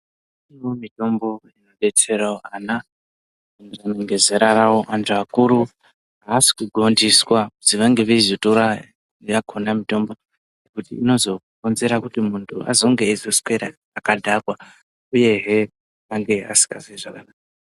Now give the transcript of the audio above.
Iriyo mitombo inodetsera ana ngezera rawo antu akuru asi kugondiswwa kuti vange veizotara kuti inozokonzera kuti muntu anenge akadhakwa eizwa asingazozwi zvakanaka.